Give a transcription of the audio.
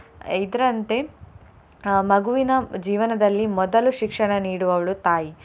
ಇದ್ರಂತೆ ಅಹ್ ಮಗುವಿನ ಜೀವನದಲ್ಲಿ ಮೊದಲು ಶಿಕ್ಷಣ ನೀಡುವವಳು ತಾಯಿ.